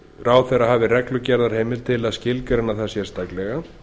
ráðherra hafi reglugerðarheimild til að skilgreina það sérstaklega